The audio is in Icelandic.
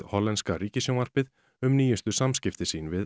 hollenska ríkissjónvarpið um nýjustu samskipti sín við